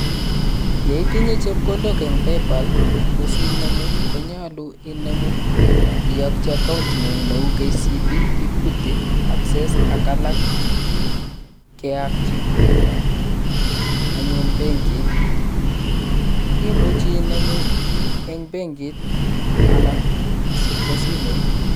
Yeitinye chepkondok eng paypal ko sinemu ko nyaluu inemu iyokyi account ng'ung neu KCB, EQUITY, ACCESS ak alak. Keyakyi anyun benkit imuji inemu eng benki anan ko simooit.